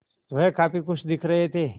वह काफ़ी खुश दिख रहे थे